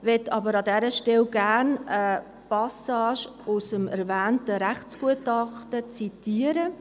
Ich möchte aber an dieser Stelle eine Passage aus dem erwähnten Rechtsgutachten zitieren: